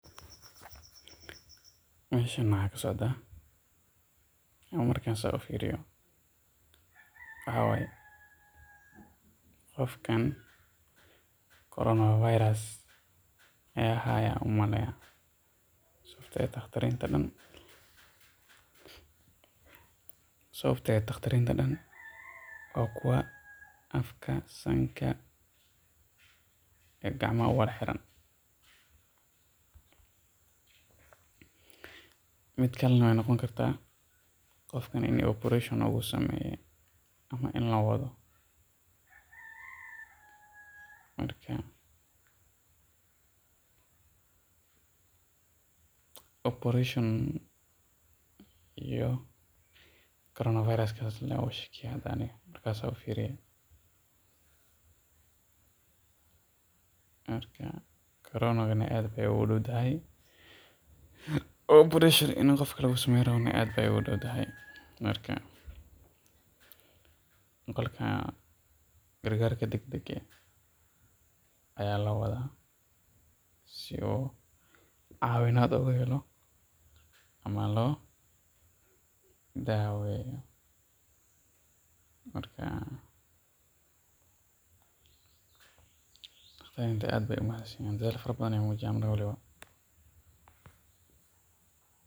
Meeshan waxaa ka socdaa markaan saan ufiiriyo, qofkan corona virus ayaa haaya, sababta oo ah daqtariinta oo dan waa kuwa sanka afka iyo gacmaha uwada xiran, mid kalena waay noqon kartaa qofkan in operation lagu sameeye in loo wado, marka saan ufiiriyo, muqaalkan gargaarka dagdaga ayaa loo wadaa si uu caawinaad uhelo ama loo daaweyo.